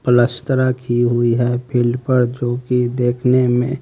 प्लस्तरा की हुई है फील्ड पर जोकी देखने में--